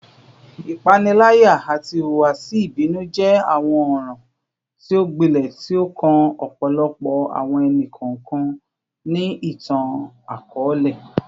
Ipanilaya ati ihuwasi ibinu jẹ awọn ọran ti o gbilẹ ti o kan ọpọlọpọ awọn ẹni-kọọkan ni itan-akọọlẹ